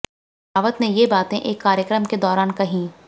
रावत ने ये बातें एक कार्यक्रम के दौरान कहीं